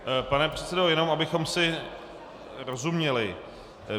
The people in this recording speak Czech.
Pane předsedo, jenom abychom si rozuměli.